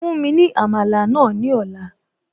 Fún mi ní Àmàlà náà ní ọ̀la